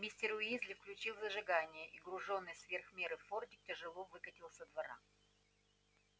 мистер уизли включил зажигание и груженный сверх меры фордик тяжело выкатил со двора